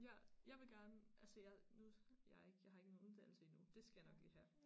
Ja jeg vil gerne altså jeg nu jeg er ikke jeg har ikke lige nogen uddannelse endnu dét skal jeg nok lige have